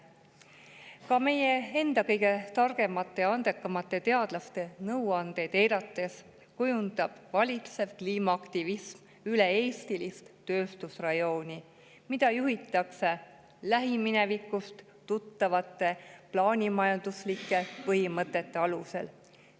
Ka meie enda kõige targemate ja andekamate teadlaste nõuandeid eirates kujundab valitsev kliimaaktivism üle-eestilist tööstusrajooni, mida juhitakse lähiminevikust tuttavate plaanimajanduslike põhimõtete alusel.